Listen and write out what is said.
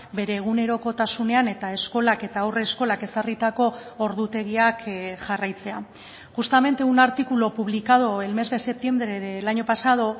bere egunerokotasunean eta eskolak eta haurreskolak ezarritako ordutegiak jarraitzea justamente un artículo publicado el mes de septiembre del año pasado